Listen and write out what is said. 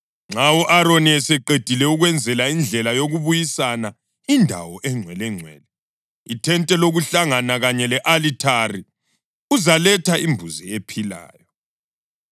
Nxa u-Aroni eseqedile ukwenzela indlela yokubuyisana indawo eNgcwelengcwele, ithente lokuhlangana kanye le-alithari, uzaletha imbuzi ephilayo.